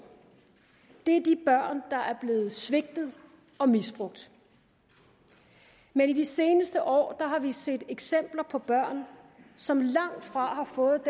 er de børn der er blevet svigtet og misbrugt men i de seneste år har vi set eksempler på børn som langt fra har fået